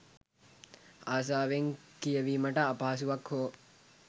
ආසාවෙන් කියවීමට අපහසුවක් හෝ